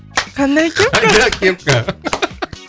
қандай кепка